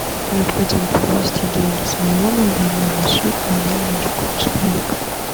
необходимо перевести деньги с моего мобильного на счет мобильного другого человека